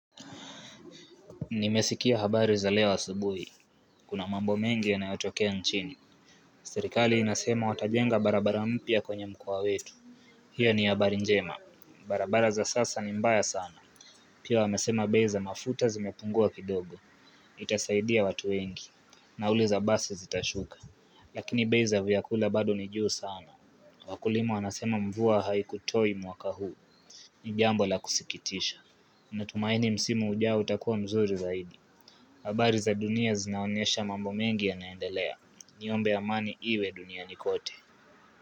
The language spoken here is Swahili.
Nimesikia habari za leo asubuhi. Kuna mambo mengi yanayotokea nchini. Serikali inasema watajenga barabara mpya kwenye mkoa wetu. Hiyo ni habari njema. Barabara za sasa ni mbaya sana. Pia wamesema bei za mafuta zimepungua kidogo. Itasaidia watu wengi. Nauri za basi zitashuka. Lakini bei za vyakula bado ni juu sana. Wakulima wanasema mvua haikutoi mwaka huu. Ni jambo la kusikitisha. Natumaini msimu ujao utakuwa mzuri zaidi habari za dunia zinaonyesha mambo mengi yanaendelea. Niombe amani iwe duniani kote.